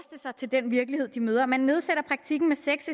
sig til den virkelighed de møder man nedsætter praktikken med seks